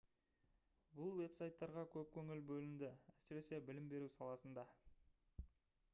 бұл веб-сайттарға көп көңіл бөлінді әсіресе білім беру саласында